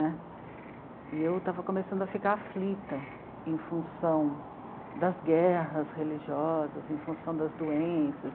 Né, e eu estava começando a ficar aflita em função das guerras religiosas, em função das doenças.